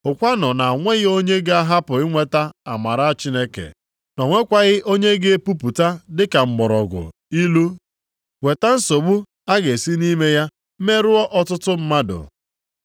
Hụkwanụ na o nweghị onye ga-ahapụ inweta amara Chineke, na o nwekwaghị onye ga-epupụta dịka mgbọrọgwụ ilu weta nsogbu a ga-esi nʼime ya merụọ ọtụtụ mmadụ.